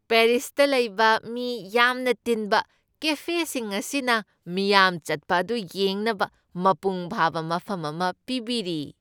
ꯄꯦꯔꯤꯁꯇ ꯂꯩꯕ ꯃꯤ ꯌꯥꯝꯅ ꯇꯤꯟꯕ ꯀꯦꯐꯦꯁꯤꯡ ꯑꯁꯤꯅ ꯃꯤꯌꯥꯝ ꯆꯠꯄ ꯑꯗꯨ ꯌꯦꯡꯅꯕ ꯃꯄꯨꯡ ꯐꯥꯕ ꯃꯐꯝ ꯑꯃ ꯄꯤꯕꯤꯔꯤ ꯫